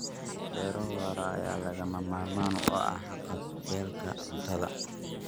Beero waara ayaa lagama maarmaan u ah haqab-beelka cuntada.